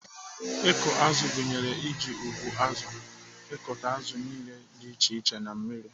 Ịkụ azụ gụnyere iji ụgbụazụ akụta azụ niile dị iche iche na mmiri.